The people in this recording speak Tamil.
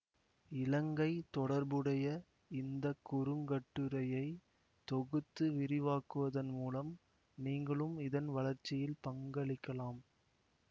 இலங்கை தொடர்புடைய இந்த குறுங்கட்டுரையை தொகுத்து விரிவாக்குவதன் மூலம் நீங்களும் இதன் வளர்ச்சியில் பங்களிக்கலாம்